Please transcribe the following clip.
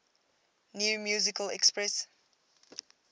new musical express